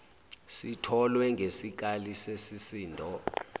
sitholwe ngesikali sesisindo